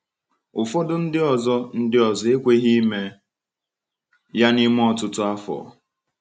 Ụfọdụ ndị ọzọ ndị ọzọ ekweghị ime ya n’ime ọtụtụ afọ.